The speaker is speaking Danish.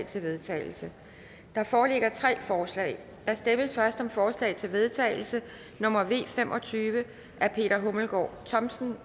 til vedtagelse der foreligger tre forslag der stemmes først om forslag til vedtagelse nummer v fem og tyve af peter hummelgaard thomsen